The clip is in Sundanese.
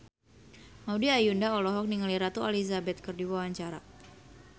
Maudy Ayunda olohok ningali Ratu Elizabeth keur diwawancara